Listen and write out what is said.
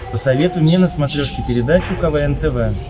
посоветуй мне на смотрешке передачу квн тв